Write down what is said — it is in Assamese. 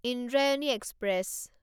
ইন্দ্ৰায়ণী এক্সপ্ৰেছ